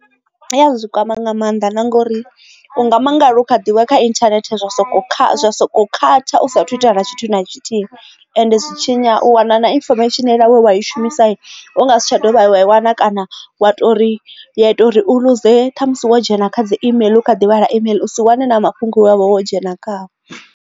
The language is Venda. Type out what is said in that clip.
I ya zwi kwama nga mannḓa na ngori u nga mangala u kha ḓivha kha internet zwa soko kha soko khatha u sathu itea na tshithu na tshithihi and zwi tshinya u wana na infomesheni wa i shumisa u nga si tsha dovha wa wana kana wa tori ya ita uri u ḽuze kha musi wo dzhena kha dzi imeiḽi kha ḓivha ḽa email u si wane na mafhungo wavha wo dzhena khao.